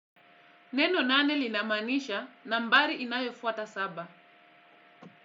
Neno nane linamaanisha nambari inayofuata saba.